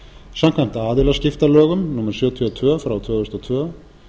samkvæmt aðilaskiptalögum númer sjötíu og tvö tvö þúsund og tvö